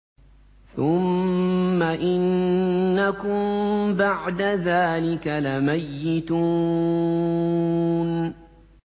ثُمَّ إِنَّكُم بَعْدَ ذَٰلِكَ لَمَيِّتُونَ